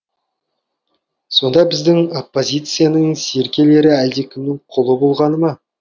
сонда біздің оппозицияның серкелері әлдекімнің құлы болғаны ма